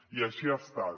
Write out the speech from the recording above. i així ha estat